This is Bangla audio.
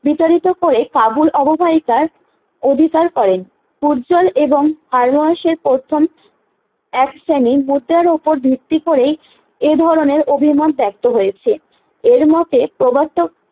বিতাড়িত করে কাবুল অববাহিকার অধিকার করেন পর্যাল এবং হার্বাসের প্রথম এক শ্রেণী ভোটের উপর ভিত্তি করেই এ ধরণের অভিমান ত্যাক্ত হয়েছে এর মতে প্রবর্তক